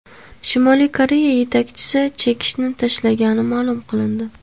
Shimoliy Koreya yetakchisi chekishni tashlagani ma’lum qilindi.